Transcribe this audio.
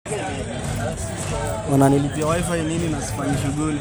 Ore biashara eishoi enkiremore keponaa siatin temurua.